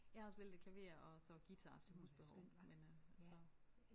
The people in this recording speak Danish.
Jeg har spillet lidt klaver og så guitar til husbehov men øh så